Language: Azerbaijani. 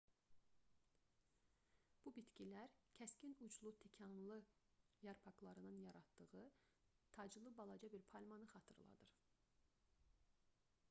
bu bitkilər kəskin uclu tikanlı yarpaqlarının yaratdığı taclı balaca bir palmanı xatırladır